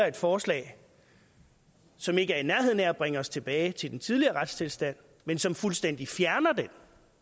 et forslag som ikke er i nærheden af at bringe os tilbage til den tidligere retstilstand men som fuldstændig fjerner den